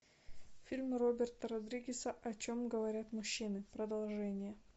фильм роберта родригеса о чем говорят мужчины продолжение